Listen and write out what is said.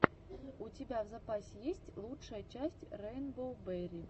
у тебя в запасе есть лучшая часть рэйнбоу берри